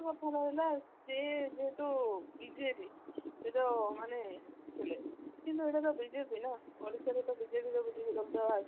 କଥା ରହିଲା ସେ ଯେହେତୁ ବିଜେଡି ସେ ଯୋଉ ମାନେ ଥିଲେ କିନ୍ତୁ ଏଟା ତ ବିଜେପି ନା ଓଡିଶା ରେ ତ ବିଜେପି ଗୋଟେ ଅଛି